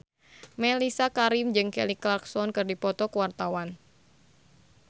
Mellisa Karim jeung Kelly Clarkson keur dipoto ku wartawan